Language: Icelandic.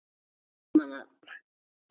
Hermenn að troða marvaða.